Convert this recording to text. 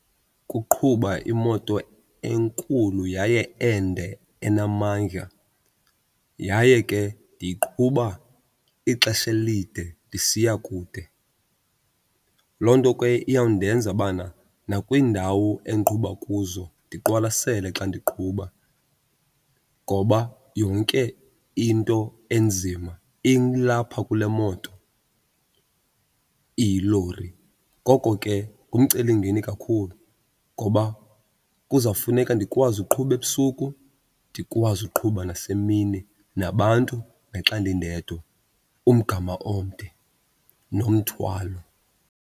Ukuqhuba imoto enkulu yaye ende enamandla yaye ke ndiyiqhuba ixesha elide ndisiya kude. Loo nto ke iyawundenza bana nakwiindawo endiqhuba kuzo ndiqwalasele xa ndiqhuba ngoba yonke into enzima ilapha kule moto iyilori. Ngoko ke ngumcelimngeni kakhulu ngoba kuzawufuneka ndikwazi uqhuba ebusuku ndikwazi uqhuba nasemini, nabantu naxa ndindedwa, umgama omde nomthwalo.